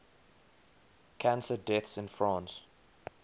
cancer deaths in france